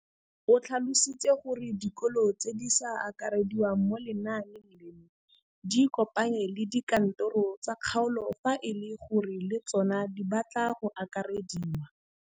O tlhalositse gore dikolo tse di sa akarediwang mo lenaaneng leno di ikopanye le dikantoro tsa kgaolo fa e le gore le tsona di batla go akarediwa.